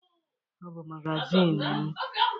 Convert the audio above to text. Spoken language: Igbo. Ọ bụ magazịnị m.